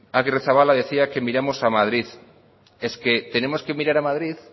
agirrezabala decía que miramos a madrid es que tenemos que mirar a madrid